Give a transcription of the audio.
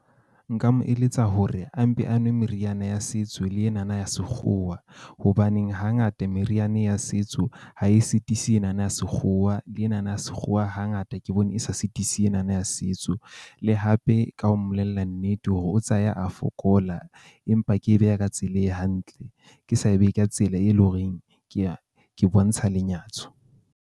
Nka mo eletsa hore a mpe a nwe meriana ya setso le ena na ya sekgowa hobaneng hangata meriana ya setso ha e sitise ena na ya sekgowa le ena na ya sekgowa, hangata ke bone e sa sitise ena na ya setso. Le hape ka ho mmolella nnete hore o tsaya a fokola empa ke e beha ka tsela e hantle. Ke sa e beye ka tsela e le ho reng ke ya ke bontsha lenyatso.